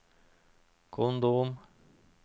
kondom